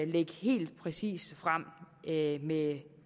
lægge helt præcist frem med